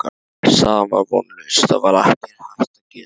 Staðan var vonlaus, það var ekkert hægt að segja.